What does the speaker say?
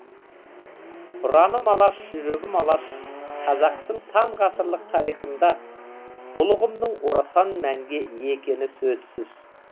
ұраным алаш жүрегім алаш қазақтың сан ғасырлық тарихында бұл ұғымның орасан мәнге ие екені сөзсіз